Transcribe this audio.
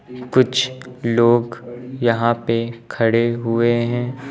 कुछ लोग यहां पे खड़े हुए हैं।